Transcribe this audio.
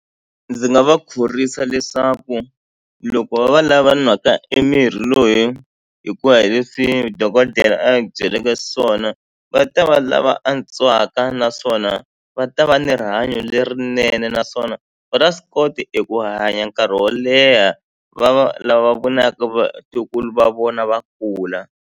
Ndzi nga va khorwisa leswaku loko va va lava nwaka e mirhi loyi hikuva hi leswi dokodela a byeleke swona va ta va lava antswaka naswona va ta va ni rihanyo lerinene naswona va ta swi kota eku hanya nkarhi wo leha va va lava vonaka vatukulu va vona va kula.